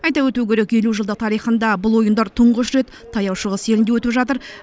айта өту керек елу жылдық тарихында бұл ойындар тұңғыш рет таяу шығыс елінде өтіп жатыр